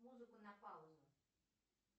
музыку на паузу